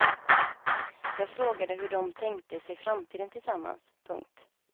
Jag frågade hur de tänkte sig framtiden tillsammans. punkt